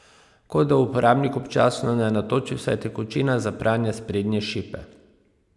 Kot da uporabnik občasno ne natoči vsaj tekočine za pranje sprednje šipe!